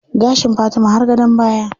Gashin Fatima har gadon baya.